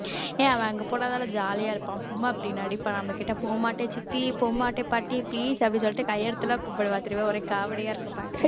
ஏன் அவன் அங்க போனாதானே jolly ஆ இருப்பான் சும்மா அப்படி நடிப்பான் நம்மகிட்ட போ மாட்டேன் சித்தி போமாட்டே பாட்டி please அப்படி சொல்லிட்டு கையெடுத்து எல்லாம் கூப்பிடுவா திரும்ப ஒரே காமெடியா இருக்கும் பாக்க